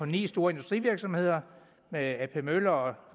ni store industrivirksomheder med ap møller og